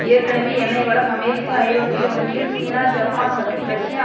ஏற்கனவே எண்ணெய் வளம் அமெரிக்கா ஐரோப்பிய ஒன்றியம் சீனா ஜப்பான் மற்றும் ரஷ்யா